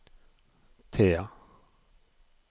Thea